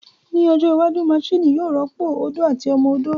Ní ọjọ́ iwájú, maṣini yóò rọ́pò ó odó àti ọmọ odó